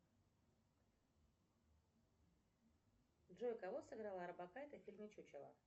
джой кого сыграла орбакайте в фильме чучело